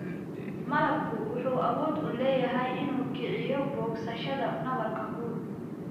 Malabku wuxuu awood u leeyahay inuu kiciyo bogsashada nabarka guud.